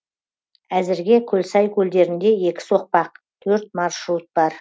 әзірге көлсай көлдерінде екі соқпақ төрт маршрут бар